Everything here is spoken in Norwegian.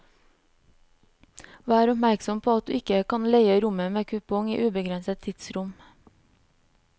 Vær oppmerksom på at du ikke kan leie rommet med kupong i ubegrenset tidsrom.